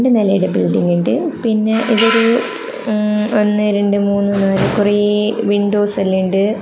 രണ്ട് നെലെടെ ബിൽഡിങ് ഉണ്ട് പിന്നെ ഇതൊരു ങ് ഒന്ന് രണ്ട് മൂന്ന് നാല് കുറേ വിൻഡോസ് എല്ലാം ഇണ്ട്.